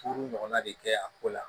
Furu ɲɔgɔnna de kɛ a ko la